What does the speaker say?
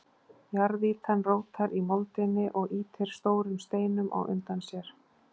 Jarðýtan rótar í moldinni og ýtir stórum steinum á undan sér.